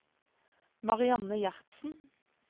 Marianne Gjertsen